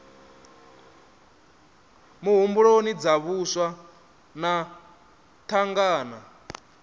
muhumbuloni dza vhaswa na thangana